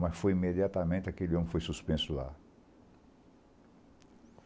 Mas foi imediatamente, aquele homem foi suspenso lá.